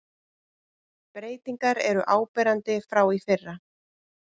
Breytingar eru áberandi frá í fyrra